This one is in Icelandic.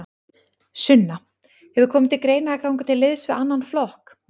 Sunna: Hefur komið til greina að ganga til liðs við annan flokk?